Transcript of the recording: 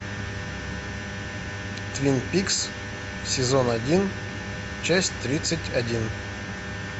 твин пикс сезон один часть тридцать один